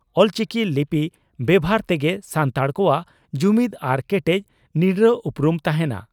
ᱚᱞᱪᱤᱠᱤ ᱞᱤᱯᱤ ᱵᱮᱵᱷᱟᱨ ᱛᱮᱜᱮ ᱥᱟᱱᱛᱟᱲ ᱠᱚᱣᱟᱜ ᱡᱩᱢᱤᱫᱽ ᱟᱨ ᱠᱮᱴᱮᱡ ᱱᱤᱨᱲᱟᱹ ᱩᱯᱨᱩᱢ ᱛᱟᱦᱮᱸᱱᱟ ᱾